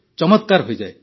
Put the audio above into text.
ଚମତ୍କାର ହୋଇଯାଏ